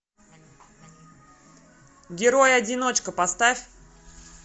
герой одиночка поставь